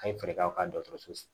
An ye fɛɛrɛ kɛ aw ka dɔkɔtɔrɔso